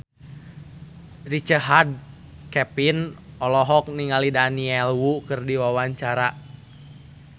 Richard Kevin olohok ningali Daniel Wu keur diwawancara